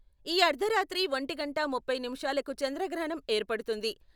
ఈ అర్థరాత్రి ఒంటి గంట ముప్పై నిమిషాలకు చంద్రగ్రహణం ఏర్పడుతుంది.